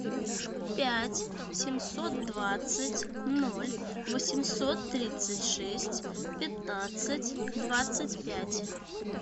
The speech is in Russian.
пять семьсот двадцать ноль восемьсот тридцать шесть пятнадцать двадцать пять